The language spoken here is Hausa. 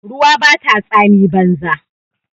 Ruwa bata tsami banza.